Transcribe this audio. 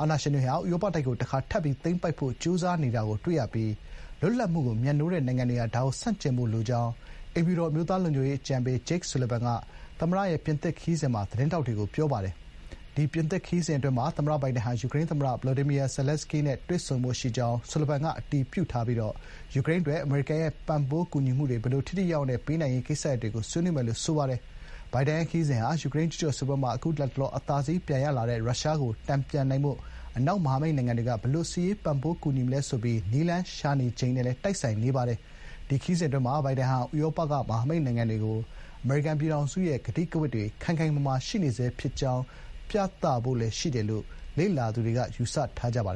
အာဏာရှင်တွေဟာ ဥရောပတိုက်ကို တခါ ထပ်ပြီး သိမ်းပိုက်ဖို့ ကြိုးစားနေတာကို တွေ့နေရပြီး လွတ်လပ်မှုကို မြတ်နိုးတဲ့နိုင်ငံတွေဟာ ဒါကို ဆန့်ကျင်ဖို့ လိုအပ်ကြောင်း” အိမ်ဖြူတော် အမျိုးသားလုံခြုံရေးအကြံပေး ဂျိတ်ဆူလဗန် (Jake Sullivan) က ပြင်သစ်နိုင်ငံကို ဘိုင်ဒန် သွားရောက်တဲ့ သမ္မတလေယာဥ် Air Force One ပေါ်မှာ သတင်းထောက်တွေကို ပြောပါတယ်။ ဒီပြင်သစ်ခရီးစဥ်း အတွင်းမှာ သမ္မတ ဘိုင်ဒန်ဟာ ယူကရိန်းသမ္မတ ဗလိုဒီမီယာ ဇယ်လန်းစကီးနဲ့ တွေ့ဆုံဖို့ ရှိကြောင်း ဆူလဗန်က အတည်ပြုပြီး ယူကရိန်းအတွက် အမေရိကန်ရဲ့ ပံ့ပိုးကူညီမှုတွေ ဘယ်လို ထိထိရောက်ရောက်နဲ့ ပေးနိုင်ရေး ကိစ္စရပ်တွေကို ဆွေးနွေးမယ်လို့ ဆိုပါတယ်။ ဘိုင်ဒန်ရဲ့ ခရီးစဥ်ဟာ ယူကရိန်း ကျူးကျော်စစ်ပွဲမှာ အခု လတ်တလော အသာစီး ပြန်ရလာတဲ့ ရုရှားကို တန်ပြန်နိုင်ဖို့ အနောက် မဟာမိတ်နိုင်ငံတွေက ဘယ်လို စစ်ရေးပံ့ပိုးကူညီမလဲဆိုပြီး နည်းလမ်းရှာနေချိန်နဲ့လည်း တိုက်ဆိုင်နေပါတယ်။ ဒီခရီးစဥ်အတွင်းမှာ ဘိုင်ဒန်ဟာ ဥရောပက မဟာမိတ်နိုင်ငံတွေကို အမေရိကန်ပြည်ထောင်စုရဲ့ ကတိကဝတ်တွေ ခိုင်ခိုင်မာမာ ရှိနေဆဲ ဖြစ်ကြောင်း ပြသရဖို့လည်း ရှိတယ်လို့ လေ့လာသူတွေက ယူဆထားကြပါတယ်